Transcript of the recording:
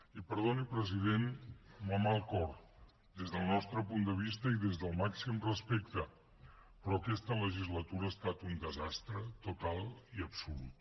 i perdoni president amb la mà al cor des del nostre punt de vista i des del màxim respecte però aquesta legislatura ha estat un desastre total i absolut